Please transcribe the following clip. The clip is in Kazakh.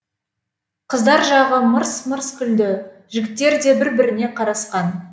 қыздар жағы мырс мырс күлді жігіттер де бір біріне қарасқан